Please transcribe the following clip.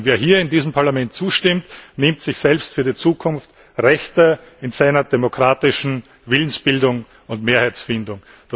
Wer hier in diesem Parlament zustimmt, nimmt sich selbst für die Zukunft Rechte in seiner demokratischen Willensbildung und Mehrheitsfindung.